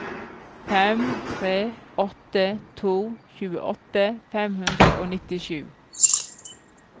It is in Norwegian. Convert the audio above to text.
fem tre åtte to tjueåtte fem hundre og nittisju